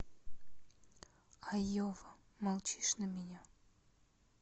айова молчишь на меня